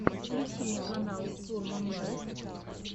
включи мне канал сурман лайв